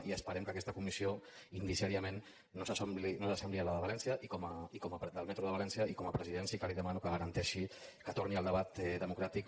i esperem que aquesta comissió indiciàriament no s’assembli a la de valència del metro de valència i com a president sí que li demano que garanteixi que torni el debat democràtic